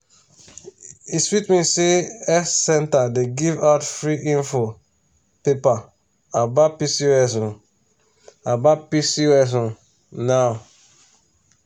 e sweet me say health center dey give out free info paper about pcos um about pcos um now.